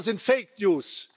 Alles andere sind fake news